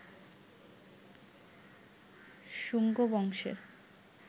শুঙ্গ বংশের